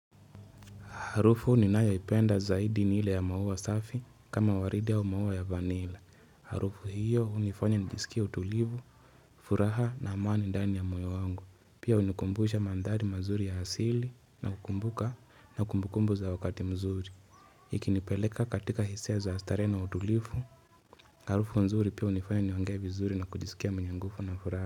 Harufu ninayoopenda zaidi ni ile ya maua safi kama waridi au maua ya vanila. Harufu hiyo hunifanya nijisikie utulivu, furaha na amani ndani ya moyo wangu. Pia unikumbusha mandhari mazuri ya hasili na kumbukumbu za wakati mzuri. Ikinipeleka katika hisia za starehe na utulivu, harufu nzuri pia unifanya niongee vizuri na kujisikia mwenye nguvu na furaha.